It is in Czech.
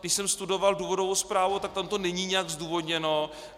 Když jsem studoval důvodovou zprávu, tak tam to není nijak zdůvodněno.